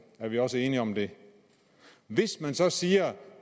er vi også enige om det hvis man så siger